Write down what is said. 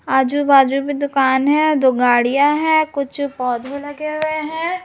आजू बाजू में दुकान हैं दो गाड़ियाँ हैं कुछ पौधे लगे हुए हैं।